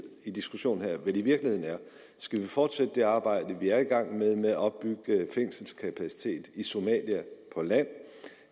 i diskussionen her vel i virkeligheden er om skal fortsætte det arbejde vi er i gang med med at opbygge fængselskapacitet i somalia på land